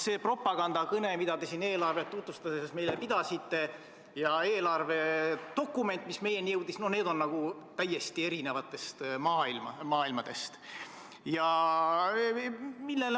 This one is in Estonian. See propagandakõne, mida te meile siin eelarvet tutvustades pidasite, ja eelarvedokument, mis meieni jõudis – need on nagu täiesti erinevatest maailmadest.